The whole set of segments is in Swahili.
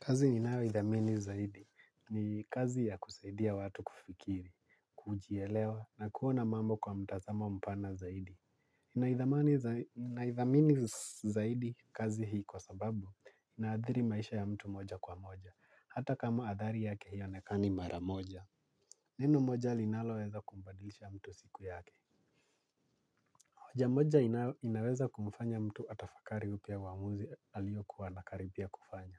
Kazi ni nayo idhamini zaidi ni kazi ya kusaidia watu kufikiri, kujielewa na kuona mambo kwa mtazama mpana zaidi. Na idhamini zaidi kazi hii kwa sababu na adhiri maisha ya mtu moja kwa moja. Hata kama adhari yake haionekani mara moja. Neno moja linaloweza kumbadilisha mtu siku yake? Hoja moja inaweza kumfanya mtu atafakari upya uwamuzi aliyo kuwa anakaribia kufanya.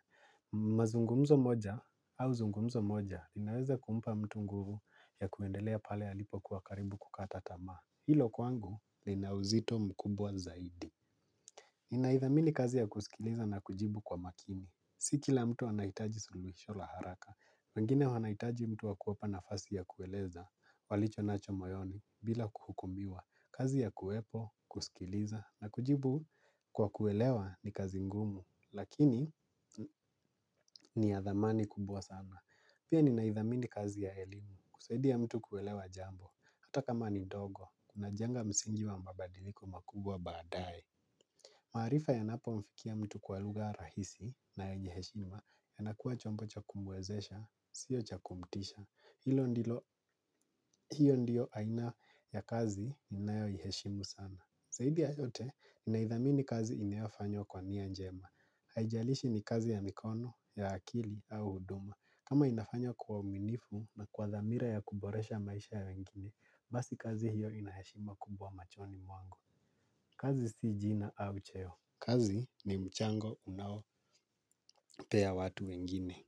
Mazungumzo moja au zungumzo moja inaweza kumpa mtu nguvu ya kuendelea pale alipo kuwa karibu kukata tamaa. Hilo kwangu linauzito mkubwa zaidi naithamini kazi ya kusikiliza na kujibu kwa makini. Si kila mtu anahitaji suluhisho la haraka wengine wanahitaji mtu wakuwepa na fasi ya kueleza walicho nacho moyoni bila kuhukumiwa. Kazi ya kuwepo, kusikiliza na kujibu kwa kuelewa ni kazi ngumu. Lakini ni ya dhamani kubwa sana, pia ninaidhamini kazi ya elimu. Kusaidia mtu kuelewa jambo hata kama ni dogo kuna jenga msingi wa mabadiliko makubwa baadaye. Maarifa yanapo mfikia mtu kwa lugha rahisi na yenye heshima ya nakuwa chombo cha kumwezesha sio cha kumtisha. Ya kazi ninayo iheshimu sana zaidi ya yote. Naidhamini kazi inayo fanywa kwa niya njema. Haijalishi ni kazi ya mikono, ya akili au huduma kama inafanya kwa uaminifu na kwa dhamira ya kuboresha maisha ya wengine basi kazi hiyo inayashima kubwa machoni mwangu. Kazi si jina au cheo, kazi ni mchango unao pea watu wengine.